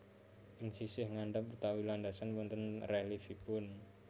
Ing sisih ngandhap utawi landasan wonten rèlièfipun